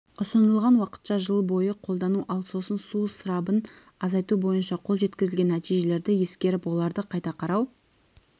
ұсынылған уақытша жыл бойы қолдану ал сосын су ысырабын азайту бойынша қол жеткізілген нәтижелерді ескеріп оларды қайта қарау